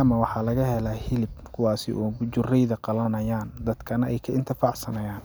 ama waxaa laga hela hilib kuwaasi oo bujureyda qlanayaan dadka nah ay ka intifacsanayaan.